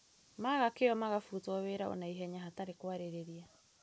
Maga kĩo makabutwo wĩra ona ihenya hatarĩ kwarĩrĩa